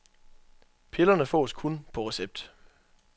Pillerne fås kun på recept.